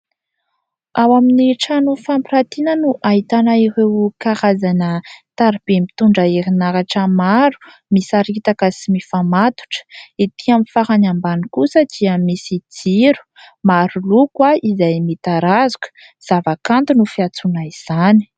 Ao amin'ny trano fampirantiana no ahitana ireo karazana tariby mitondra herinaratra maro, misaritaka sy mifamatotra. Ety amin'ny farany ambany kosa dia misy jiro maro loko, izay mitarazoka ; zavakanto no fiantsoana izany.